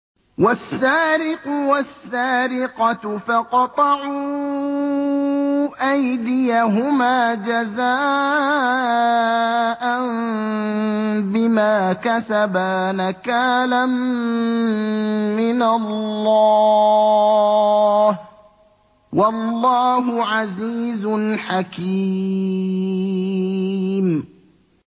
وَالسَّارِقُ وَالسَّارِقَةُ فَاقْطَعُوا أَيْدِيَهُمَا جَزَاءً بِمَا كَسَبَا نَكَالًا مِّنَ اللَّهِ ۗ وَاللَّهُ عَزِيزٌ حَكِيمٌ